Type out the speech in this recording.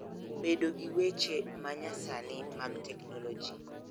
Bedo gi weche ma nyasani mag teknoloji